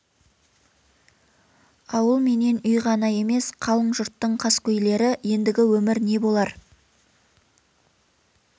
ауыл менен үй ғана емес қалың жұрттың қаскөйлері ендігі өмір не болар